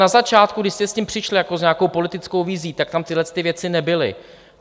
Na začátku, když jste s tím přišli jako s nějakou politickou vizí, tak tam tyto věci nebyly.